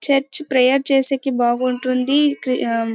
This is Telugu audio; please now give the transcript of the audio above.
చర్చి ప్రేయర్ చేసేకి బాగుంటుంది. ఇక ఆ --